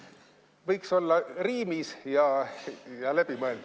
Võiks olla riimis ja läbimõeldud.